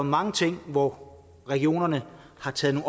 mange ting hvor regionerne har taget